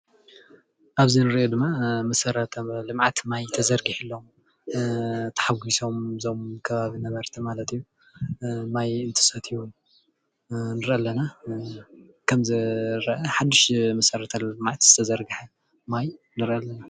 ኣብዚ እንሪኦ ድማ መሰረተ ልምዓት ማይ ተዘርጊሕሎም ተሓጊሶም እዞም ከባቢ ነበርቲ ማለት እዩ፡፡ ማይ እንትሰትዩ ንርኢ ኣለና። ከም ዝረአ ሓዱሽ መሰረተ ልምዓት ዝተዘርገሐ ማይ ንርኢ ኣለና፡፡